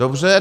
Dobře.